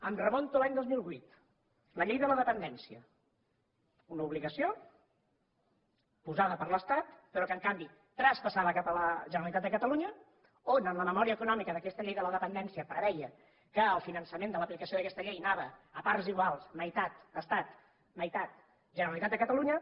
em remunto a l’any dos mil vuit la llei de la dependència una obligació posada per l’estat però que en canvi traspassada a la generalitat de catalunya on en la memòria econòmica d’aquesta llei de la dependència preveia que el finançament de l’aplicació d’aquesta llei anava a parts iguals meitat estat meitat generalitat de catalunya